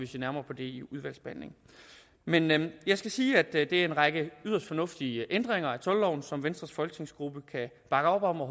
se nærmere på det i udvalgsbehandlingen men jeg skal sige at det er en række yderst fornuftige ændringer af toldloven som venstres folketingsgruppe kan bakke op om og